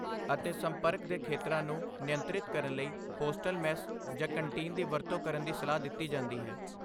ਅਤੇ ਸੰਪਰਕ ਦੇ ਖੇਤਰਾਂ ਨੂੰ ਨਿਯੰਤਰਿਤ ਕਰਨ ਲਈ ਹੋਸਟਲ ਮੈਸ ਜਾਂ ਕੰਟੀਨ ਦੀ ਵਰਤੋਂ ਕਰਨ ਦੀ ਸਲਾਹ ਦਿੱਤੀ ਜਾਂਦੀ ਹੈ।